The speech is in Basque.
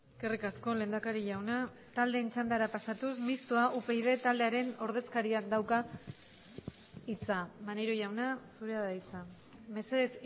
eskerrik asko lehendakari jauna taldeen txandara pasatuz mistoa upyd taldearen ordezkariak dauka hitza maneiro jauna zurea da hitza mesedez